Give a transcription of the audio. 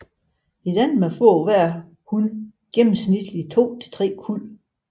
I Danmark får hver hun gennemsnitligt to til tre kuld